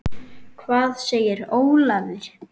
Hvað segir Ólafur?